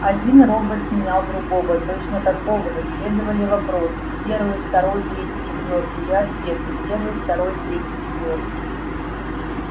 один робот сменял другого точно такого же следовали вопросы первый второй третий четвёртый и ответы первый второй третий четвёртый